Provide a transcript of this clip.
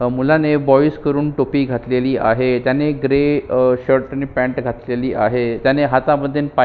मुलाने बॉइज करून टोपी घातलेली आहे त्यांनी ग्रे शर्ट अ आणि पँट घातलेली आहे त्यांनी हातामध्ये आणि पायामधे--